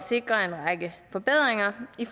sikre en række forbedringer i